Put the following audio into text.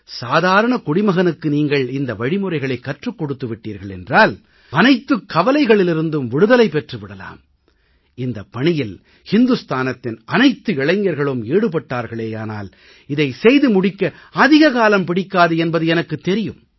சாதாரண குடிமகனுக்கு நீங்கள் இந்த வழிமுறைகளைக் கற்றுக் கொடுத்து விட்டீர்கள் என்றால் அனைத்துக் கவலைகளிலிருந்தும் விடுதலை பெற்று விடலாம் இந்தப் பணியில் இந்துஸ்தானத்தின் அனைத்து இளைஞர்களும் ஈடுபட்டார்களேயானால் இதை செய்து முடிக்க அதிக காலம் பிடிக்காது என்பது எனக்குத் தெரியும்